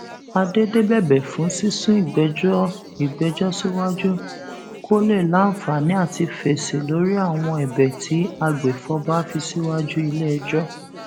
àdédé bẹbẹ fún sísún ìgbẹjọ ìgbẹjọ síwájú kó lè láǹfààní àti fèsì lórí àwọn ẹbẹ tí agbèfọba fi síwájú iléẹjọ